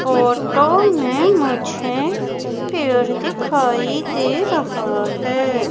Photo में मुझे पेड़ दिखाई दे रहा है।